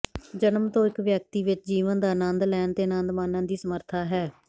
ਜਨਮ ਤੋਂ ਇਕ ਵਿਅਕਤੀ ਵਿਚ ਜੀਵਨ ਦਾ ਅਨੰਦ ਲੈਣ ਅਤੇ ਅਨੰਦ ਮਾਨਣ ਦੀ ਸਮਰੱਥਾ ਹੈ